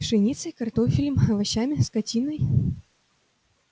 пшеницей картофелем овощами скотиной